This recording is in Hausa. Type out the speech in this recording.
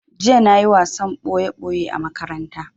Jiya na yi wasan ɓoye ɓoye a makaranta